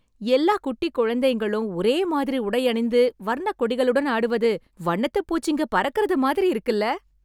எல்லா குட்டிக் குழந்தைங்களும் ஒரே மாதிரி உடையணிந்து வர்ணக் கொடிகளுடன் ஆடுவது, வண்ணத்துப் பூச்சிங்க பறக்கறது மாதிரி இருக்குல்ல...